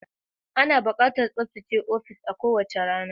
Ana buƙatar tsaftace ofis a kowace rana.